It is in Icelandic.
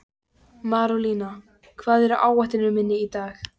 Marólína, hvað er á áætluninni minni í dag?